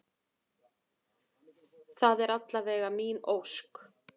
Það er alla vega mín ósk.